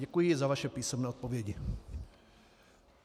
Děkuji za vaše písemné odpovědi.